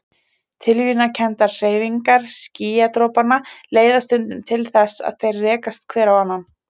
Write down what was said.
Tilviljanakenndar hreyfingar skýjadropanna leiða stundum til þess að þeir rekast hver á annan.